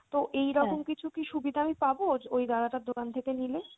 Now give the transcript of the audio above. তো এইরকম কিছু কি সুবিধা আমি পাবো ওই দাদা টার দোকান থেকে নিলে?